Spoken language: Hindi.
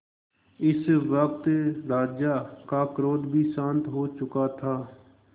इस वक्त राजा का क्रोध भी शांत हो चुका था